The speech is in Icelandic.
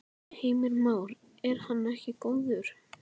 Heimir Már: Er hann ekki góður?